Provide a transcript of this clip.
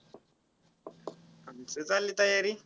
आमचं चाललं तयारी.